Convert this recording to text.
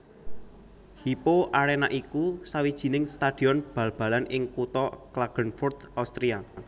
Hypo Arena iku sawijining stadion bal balan ing kutha Klagenfurt Austria